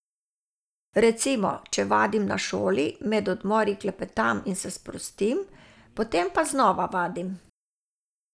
Recimo, če vadim na šoli, med odmori klepetam in se sprostim, potem pa znova vadim.